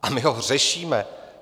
A my to řešíme.